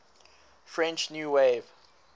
french new wave